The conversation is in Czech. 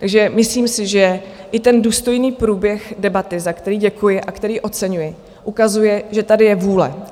Takže myslím si, že i ten důstojný průběh debaty, za který děkuji a který oceňuji, ukazuje, že tady je vůle.